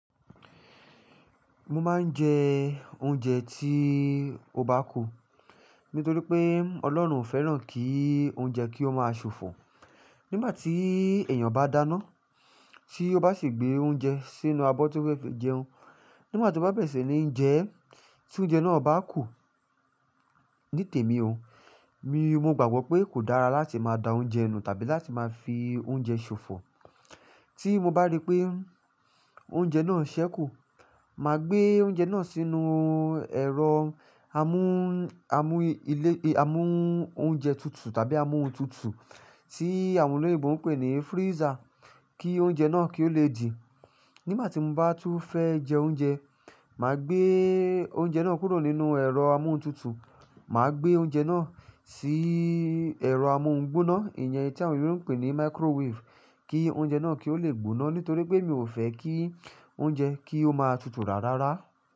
Mo máa ń jẹ oúnjẹ tí ó bá kù nítorí pé Ọlọ́run ò fẹ́ràn kí oúnjẹ kí ó máa ṣòfò. Nígbà tí èèyàn bá dáná tí ó bá sì gbé oúnjẹ sínú abọ́ tó fẹ́ fi jẹun, nígbà tí ó bá bẹ̀rẹ̀ sí ní jẹ ẹ́ tí oúnjẹ náà bá kù. Ní tèmi o, mi mo gbàgbọ́ pé kò dára láti máa da oúnjẹ nù tàbí láti máa fi oúnjẹ ṣòfò. Tí mo bá rí pé oúnjẹ náà ń ṣẹ́ kù, màá gbé oúnjẹ náà sínú ẹ̀rọ amú, amú ilé, amú oúnjẹ tutù tàbí amú òhún tutù tí àwọn olóyinbo ń pè ní freezer kí oúnjẹ náà kí ó lè dì. Nígbà tí mo bá tún fẹ́ jẹ oúnjẹ, màá gbé oúnjẹ náà kúrò nínú ẹ̀rọ amú òhún tutù, màá gbé oúnjẹ náà sí ẹ̀rọ amú ohun gbóná, ìyẹn tí àwọn olóyèbo ń pè ní microwave kí oúnjẹ náà kí ó lè gbóná nítorí pé mi ò fẹ́ kí oúnjẹ kí ó máa tutù rárara.